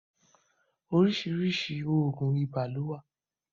oríṣiríṣi oògùn ibà ló wá